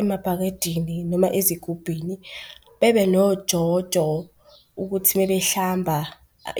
emabhakedeni noma ezigubhini, bebe nojojo ukuthi uma behlamba